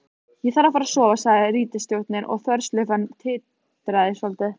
Ég þarf að sofa, sagði ritstjórinn og þverslaufan titraði svolítið.